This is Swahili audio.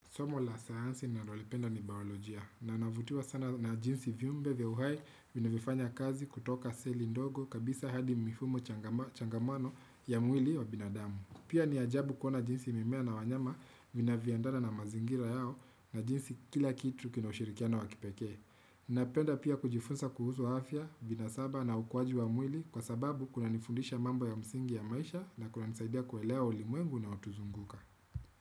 Somo la sayansi nalo lipenda ni baolojia. Na navutiwa sana na jinsi viumbe vya uhai vinavyofanya kazi kutoka seli ndogo kabisa hadi mifumo changamano ya mwili wa binadamu. Pia ni ajabu kuona jinsi mimea na wanyama vina vyoendana na mazingira yao na jinsi kila kitu kina ushirikiana wa kipekee. Napenda pia kujifunza kuhusu afya, binasaba na ukwaji wa mwili kwa sababu kuna nifundisha mambo ya msingi ya maisha na kunanisaidia kuelea ulimwengu unaotuzunguka.